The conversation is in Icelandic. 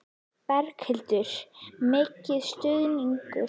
Berghildur: Mikil stuðningur?